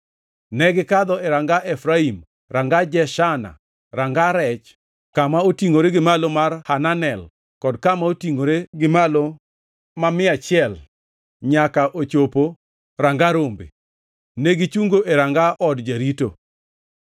negikadho Ranga Efraim, Ranga Jeshana, Ranga Rech, Kama Otingʼore gi Malo mar Hananel kod Kama Otingʼore gi Malo ma Mia Achiel nyaka ochopo Ranga Rombe. Negichungo e Ranga Od jarito.